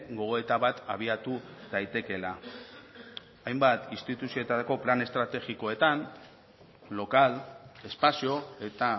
gogoeta bat abiatu daitekeela hainbat instituzioetako plan estrategikoetan lokal espazio eta